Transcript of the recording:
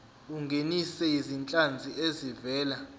ungenise izinhlanzi ezivela